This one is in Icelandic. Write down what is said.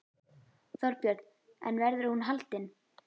Þorbjörn: En verður hún haldin?